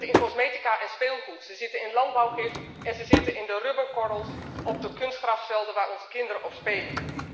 Ze zitten in cosmetica en speelgoed, ze zitten in landbouwgif en ze zitten in de rubberkorrels op de kunstgrasvelden waar onze kinderen op spelen.